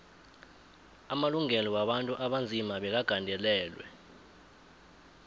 amalungelo wabantu abanzima bekagandelelwe